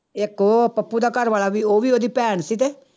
ਇੱਕ ਉਹ ਪੱਪੂ ਦਾ ਘਰ ਵਾਲਾ ਵੀ ਉਹ ਵੀ ਉਹਦੀ ਭੈਣ ਸੀ ਤੇ